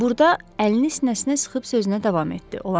Burada əlini sinəsinə sıxıb sözünə davam etdi.